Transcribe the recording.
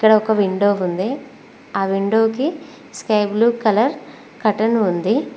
ఇక్కడ ఒక విండో ఉంది ఆ విండోకి స్కై బ్లూ కలర్ కర్టన్ ఉంది